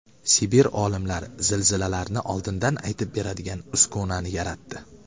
Sibir olimlari zilzilalarni oldindan aytib beradigan uskunani yaratdi.